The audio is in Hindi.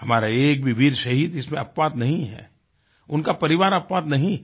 हमारा एक भी वीर शहीद इसमें अपवाद नहीं है उनका परिवार अपवाद नहीं है